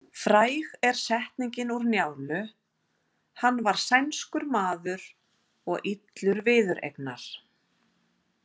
Fræg er setningin úr Njálu: Hann var sænskur maður og illur viðureignar.